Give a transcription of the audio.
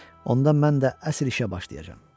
Onda mən də əsl işə başlayacam.